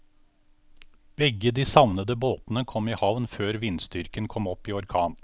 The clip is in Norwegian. Begge de savnede båtene kom i havn før vindstyrken kom opp i orkan.